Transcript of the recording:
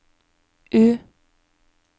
U